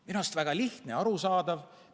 Minu arust väga lihtne ja arusaadav.